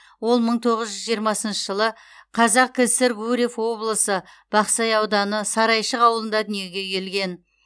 ол мың тоғыз жүз жиырмасыншы жылы қазкср гурьев облысы бақсай ауданы сарайшық ауылында дүниеге келген